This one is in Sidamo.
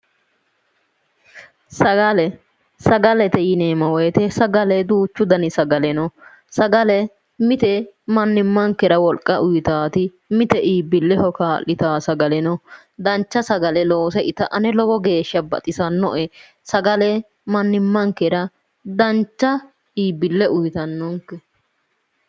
Sagale sagalete yineemo woyite duuchu dani sagale no sagale mite mannimankera woliqa uyitaati mite iibbileho ka'litaati sagale no danixha sagale loose ita ane lowo geesha baxisannoe eagale mannimanikera danicha iibbile uyitannonike